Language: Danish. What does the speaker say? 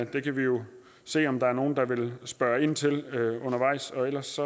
kan jo se om der er nogen der vil spørge ind til det undervejs og ellers